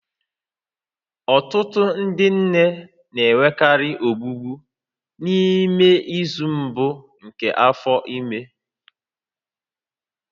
Ọtụtụ ndị nne na-enwekarị ọgbụgbọ n'ime izu mbụ nke afọ ime